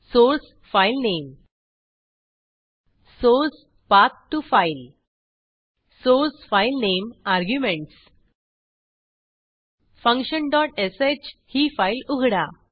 source filename source Path to file source filename arguments function dot sh ही file उघडा